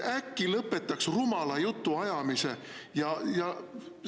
Äkki lõpetaks rumala jutu ajamise?